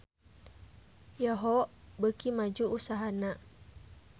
Yahoo! beuki maju usahana